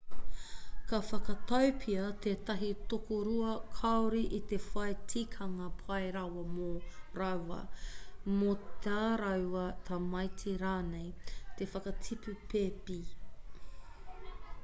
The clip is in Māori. ka whakatau pea tētahi tokorua kāore i te whai tikanga pai rawa mō rāua mō tā rāua tamaiti rānei te whakatipu pēpi